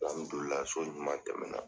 so ɲuman tɛmɛna.